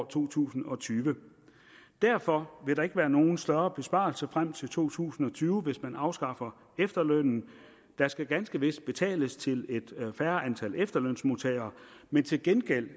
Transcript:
to tusind og tyve derfor vil der ikke være nogen større besparelse frem til to tusind og tyve hvis man afskaffer efterlønnen der skal ganske vist betales til et færre antal efterlønsmodtagere men til gengæld